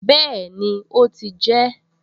Bẹ́ẹ̀ni, ó ti jẹ ẹ́